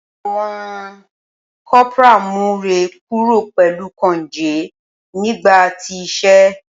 Awọn corporal mu rẹ kuro pẹlu konge nigba ti ise.